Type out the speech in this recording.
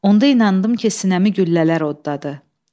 Onda inandım ki, sinəmi güllələr oddadı.